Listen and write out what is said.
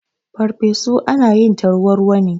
Ferfesu ana yin ta ruwa ruwa ne.